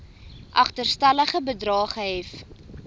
agterstallige bedrae gehef